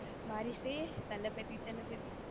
வாரிசு தளபதி தளபதி,